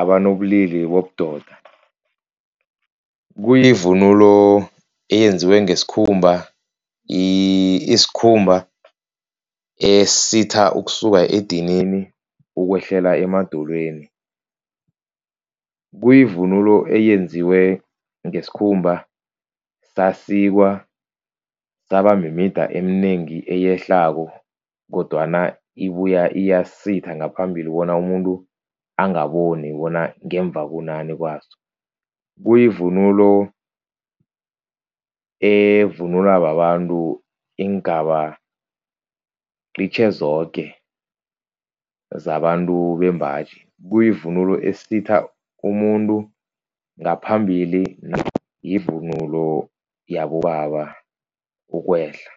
abanobulili bobudoda. Kuyivunulo eyenziwe ngesikhumba, isikhumba esisitha ukusuka edinini ukwehlela emadolweni. Kuyivunulo eyenziwe ngesikhumba sasikwa, saba mimida eminengi eyehlako kodwana ibuya iyasitha ngaphambili bona umuntu angaboni bona ngemva kunani kwaso. Kuyivunulo evunulwa babantu iingaba qitjhe zoke zabantu bembaji, kuyivunulo esitha umuntu ngaphambili. Yivunulo yabobaba ukwehla.